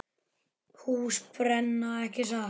Hús brenna, ekki satt?